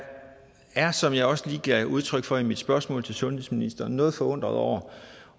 er som jeg også lige gav udtryk for i mit spørgsmål til sundhedsministeren noget forundret over